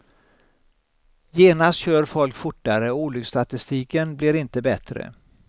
Genast kör folk fortare och olycksstatistiken blir inte bättre.